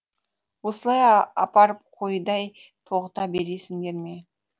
осылай апарып қойдай тоғыта бересіңдер ме